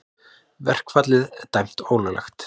Verkfallið dæmt ólöglegt